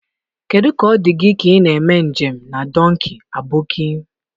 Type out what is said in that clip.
Kedu ka ọ dị gị ka ị na-eme njem na Dọnkii Aboki?